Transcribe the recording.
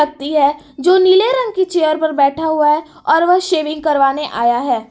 ती है जो नीले रंग की चेयर पर बैठा हुआ है और वह शेविंग करवाने आया है।